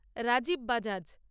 Rajib Bajaj